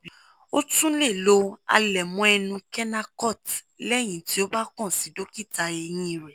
o tún lè lo àlẹ̀mọ́ ẹnu kenacort lẹ́yìn tí o bá kàn sí dókítà eyín rẹ